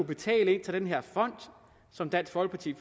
betale til den her fond som dansk folkeparti